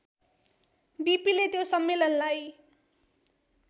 बिपिले त्यो सम्मेलनलाई